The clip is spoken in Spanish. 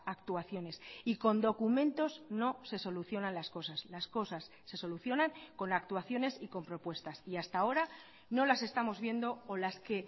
actuaciones y con documentos no se solucionan las cosas las cosas se solucionan con actuaciones y con propuestas y hasta ahora no las estamos viendo o las que